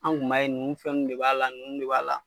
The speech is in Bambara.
Anw kun b'a ye nunnu fɛnw de b'a la nunnu de b'a la.